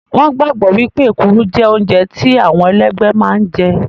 Wọn gbàgbọ́ wípé èkuru jẹ́ oúnjẹ tí àwọn ẹlẹ́gbẹ́ máa ń jẹ